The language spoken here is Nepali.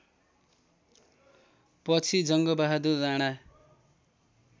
पछि जङ्गबहादुर राणा